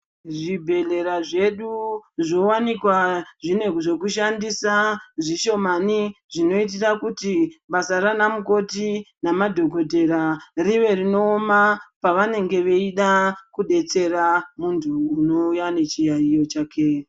Zvibhehlera zvedu zvoonekwa zvine zvekushandisa zvishomani zvinoitira kuti basa raana mukoti namadhokodheya rive rinooma pavanenge veida kudetsera munhu anouya nechiyayiyo chake.